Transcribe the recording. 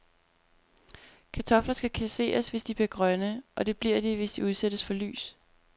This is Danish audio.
Kartofler skal kasseres, hvis de bliver grønne, og det bliver de, hvis de udsættes for lys.